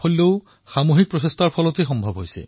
প্ৰতিমাহে ইয়াৰ জৰিয়তে শ শ দুখীয়া ৰোগী লাভান্বিত হৈছে